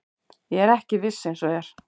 Ég er ekki viss eins og er.